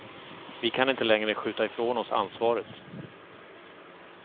Vi kan inte längre skjuta ifrån oss ansvaret.